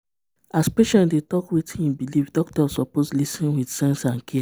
as patient dey talk wetin e believe doctor suppose lis ten with sense and care.